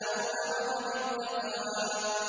أَوْ أَمَرَ بِالتَّقْوَىٰ